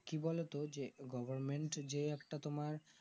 কি বোলো তো যে government যে একটা তোমার